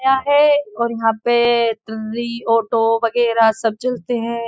आया है और यहाँ पे ऑटो वगैरह सब चलते हैं।